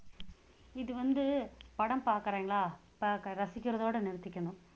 இது வந்து படம் பாக்குறீங்களா பாக்குற~ ரசிக்கிறதோட நிறுத்திக்கணும்